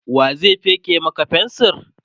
wa zai feke Maka fensir?